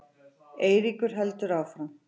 Eiríkur heldur áfram.